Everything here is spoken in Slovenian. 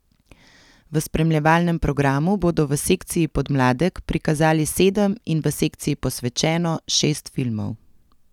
V spremljevalnem programu bodo v sekciji Podmladek prikazali sedem in v sekciji Posvečeno šest filmov.